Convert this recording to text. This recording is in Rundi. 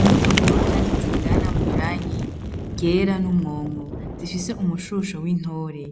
Imbuto nkuru, kandi zingana mw'irangi ryera n'umwongo zifise umushusho w'intore